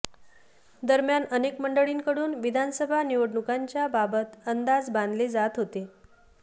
दरम्यान अनेक मंडळींकडून विधानसभा निवडणुकांच्या बाबत अंदाज बांधले जात होते